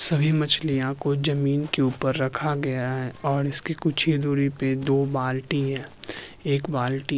सभी मछलियां को जमीन के उपर रखा गया है और इसकी कुछ ही दुरी पे दो बाल्टी हैं एक बालटी --